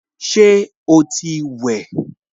Ṣé o ti wẹ̀?